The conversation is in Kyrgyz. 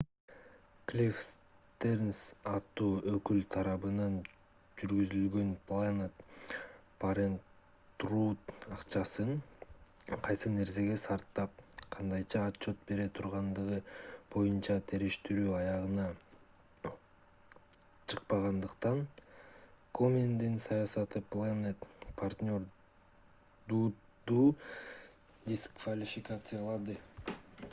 клифф стернс аттуу өкүл тарабынан жүргүзүлгөн planned parenthood акчасын кайсы нерсеге сарптап кандайча отчет бере тургандыгы боюнча териштирүү аягына чыкпагандыктан комендин саясаты planned parenthood'ду дисквалификациялады